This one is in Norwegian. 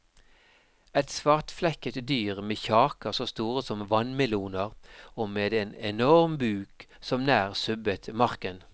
Et svartflekket dyr med kjaker så store som vannmeloner og med en enorm buk som nær subbet marken.